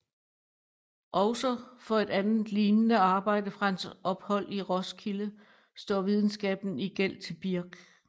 Også for et andet lignende arbejde fra hans ophold i Roskilde står videnskaben i gæld til Birch